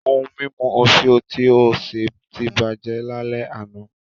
Ohun mímu òfìò tí ó ṣe ti bàjẹ́ lálẹ́ àná